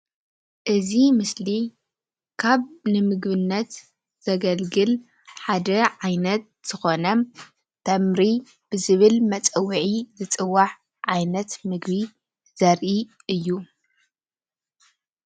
እዚ ምስሊ ካብ ንምግብነት ዘገልግል ሓደ ዓይነት ዝኾነ ተምሪ ብዝብል መፀውዒ ዝፅዋዕ ዓይነት ምግቢ ዘርኢ እዩ።